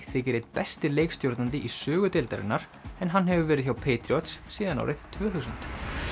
þykir einn besti leikstjórnandi í sögu deildarinnar en hann hefur verið hjá síðan árið tvö þúsund